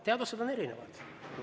Teadused on erinevad.